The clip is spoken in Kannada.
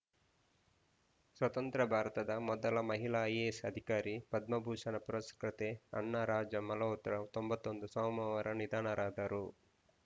ಸ್ವತಂತ್ರ ಭಾರತದ ಮೊದಲ ಮಹಿಳಾ ಐಎಎಸ್‌ ಅಧಿಕಾರಿ ಪದ್ಮಭೂಷಣ ಪುರಸ್ಕೃತೆ ಅಣ್ಣಾ ರಾಜಂ ಮಲ್ಹೋತ್ರಾ ತೊಂಬತ್ತ್ ಒಂದು ಸೋಮವಾರ ನಿಧನರಾದರು